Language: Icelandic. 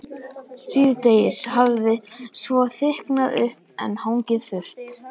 Síðdegis hafði svo þykknað upp en hangið þurrt.